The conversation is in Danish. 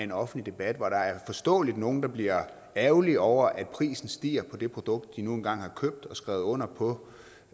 en offentlig debat hvor der forståeligt er nogle der bliver ærgerlige over at prisen stiger på det produkt de nu engang har købt og skrevet under på